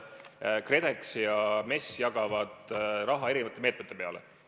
Aga KredEx ja MES jagavad raha erinevate meetmete raames.